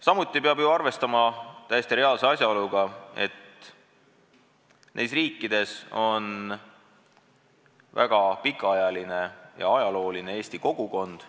Samuti peab ju arvestama täiesti reaalse asjaoluga, et paljudes nendes riikides on juba pikka aega olemas olnud eesti kogukond.